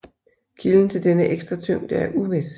Kilden til denne ekstra tyngde er uvis